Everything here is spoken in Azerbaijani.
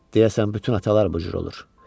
Deyəsən bütün atalar bu cür olur.